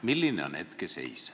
Milline on hetkeseis?